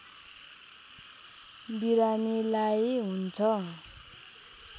बिरामीलाई हुन्छ